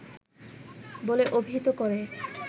বলে অভিহিত করে